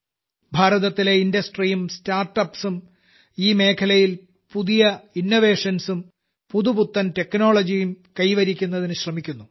ഭാരതത്തിലെ ഇൻഡ്ട്സറി ഉം സ്റ്റാർട്ടപ്സ് ഉം ഈ മേഖലയിൽ പുതിയ പുതിയ ഇന്നോവേഷൻസ് ഉം പുതുപുത്തൻ Technologyകളും കൈവരിക്കുന്നതിന് ശ്രമിക്കുന്നു